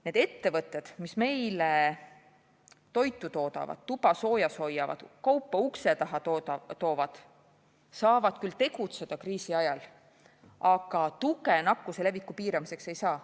Need ettevõtted, mis meile toitu toodavad, tuba soojas hoiavad, kaupa ukse taha toovad, saavad küll tegutseda kriisi ajal, aga tuge nakkuse leviku piiramiseks ei saa.